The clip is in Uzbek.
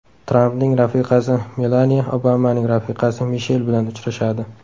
Trampning rafiqasi Melaniya Obamaning rafiqasi Mishel bilan uchrashadi.